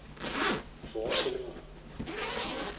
forestillinger